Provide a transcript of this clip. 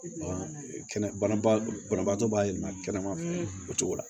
Banabaatɔ b'a yɛlɛma kɛnɛma o cogo la